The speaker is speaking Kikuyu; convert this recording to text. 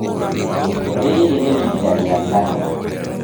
Rĩrĩ nĩ rita rĩa kana.